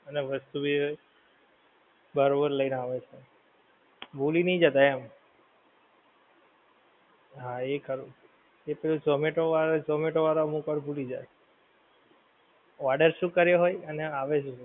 અને વસ્તુ ભી એ બરોબર લઈ ને આવે છે. ભૂલી નહિ જતાં એમ. હા એ ખરું. ઝોમેટો વાળાં, ઝોમેટો વાળાં અમુક વાર ભૂલી જાય. Order શું કર્યો હોય અને આવે શું.